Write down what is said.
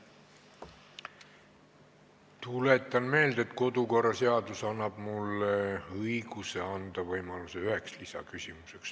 Tuletan meelde, et kodukorraseadus annab mulle arupärimiste korral õiguse anda võimalus esitada üks lisaküsimus.